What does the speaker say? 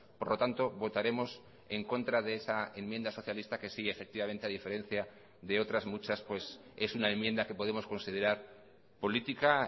por lo tanto votaremos en contra de esa enmienda socialista que sí efectivamente a diferencia de otras muchas pues es una enmienda que podemos considerar política